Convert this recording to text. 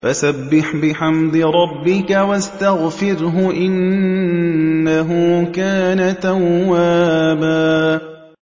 فَسَبِّحْ بِحَمْدِ رَبِّكَ وَاسْتَغْفِرْهُ ۚ إِنَّهُ كَانَ تَوَّابًا